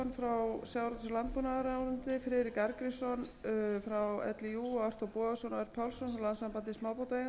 málið og fékk á fund sinn sigurgeir þorgeirsson og kristján frey helgason frá sjávarútvegs og landbúnaðarráðuneyti friðrik arngrímsson frá líú og